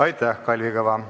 Aitäh, Kalvi Kõva!